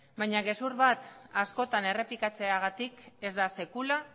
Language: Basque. baina gezur bat askotan errepikatzeagatik ez da sekula